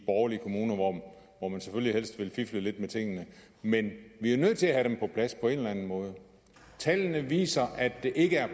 borgerlige kommuner hvor man selvfølgelig helst vil fifle lidt med tingene men vi er jo nødt til at have dem på plads på en eller anden måde tallene viser at det ikke er